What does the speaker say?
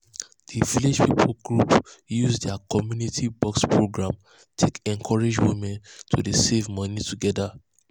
the village people group use their community um box program take encourage women to dey save money together.